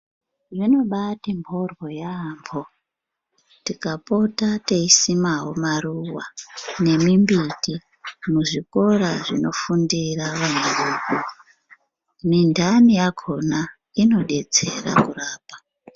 Zvinobaati mboryo yaambo tikapota teisimao maruwa nemimbiti muzvikora zvinofundira vana vedu mindani yakona inodetsera kurapa.